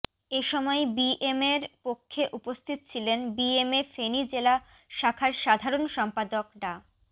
এসময় বিএমএর পক্ষে উপস্থিত ছিলেন বিএমএ ফেনী জেলা শাখার সাধারণ সম্পাদক ডা